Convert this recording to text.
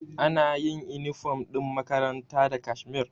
Anayin inifom ɗin makaranta da kashmir